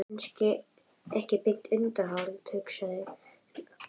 Kannski ekki beint undanhald, hugsuðum við, en harðvítug varnarbarátta.